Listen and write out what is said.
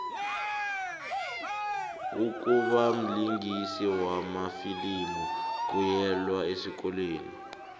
ukubamlingisi wamafilimu kuyelwa esikolweni